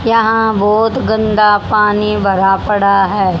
यहाँ बहोत गंदा पानी भरा पड़ा है।